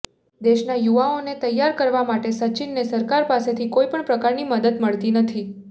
દેશના યુવાઓને તૈયાર કરવા માટે સચિનને સરકાર પાસેથી કોઇપણ પ્રકારની મદદ મળતી નથી